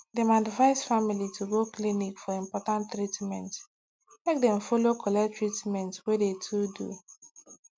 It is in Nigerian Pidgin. dem advice family to go clinic for important treatment make dem follow collect treatment wey de to do